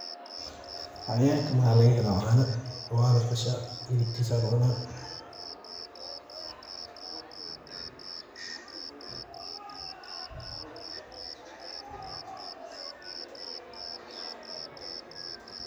Xawayanka maxa laga hela caana wala qasha hilibkisa la cuuna.